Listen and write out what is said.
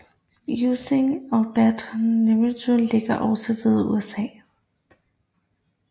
Usingen og Bad Nauheim ligger også ved Usa